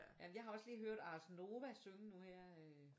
Ja men jeg har også lige hørt Ars Nova synge nu her øh